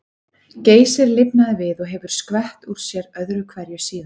Geysir lifnaði við og hefur skvett úr sér öðru hverju síðan.